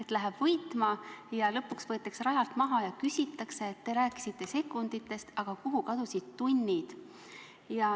Ta läheb võitma, aga lõpuks võetakse ta rajalt maha ja küsitakse talt, et te rääkisite sekunditest, aga kuhu kadusid tunnid.